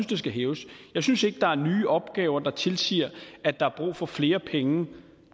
det skal hæves jeg synes ikke der er nye opgaver der tilsiger at der er brug for flere penge